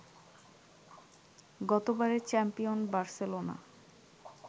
গতবারের champion Barcelona